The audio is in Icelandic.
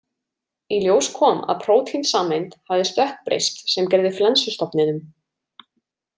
Í ljós kom að prótínsameind hafði stökkbreyst sem gerði flensustofninum.